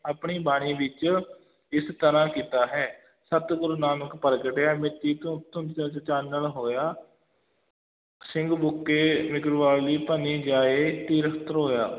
ਆਪਣੀ ਬਾਣੀ ਵਿੱਚ ਇਸ ਤਰਾਂ ਕੀਤਾ ਹੈ, ਸਤਿਗੁਰ ਨਾਨਕ ਪ੍ਰਗਟਿਆ ਮਿਟੀ ਧੁੰ~ ਧੁੰਦ ਜਗ ਚਾਨਣ ਹੋਇਆ ਸਿੰਘ ਬੁਕੇ ਮਿਰਗਾਵਲੀ ਭੰਨੀ ਜਾਏ ਧੀਰ ਧਰੋਆ।